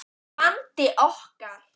bandi okkar.